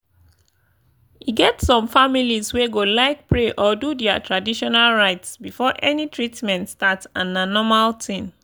e get some families wey go like pray or do their traditional rites before any treatment start and na normal thing.